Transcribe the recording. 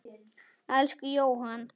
Elsku Jóhann.